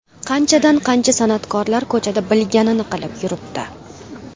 Qanchadan-qancha san’atkorlar ko‘chada bilganini qilib yuribdi.